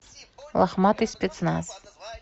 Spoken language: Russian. лохматый спецназ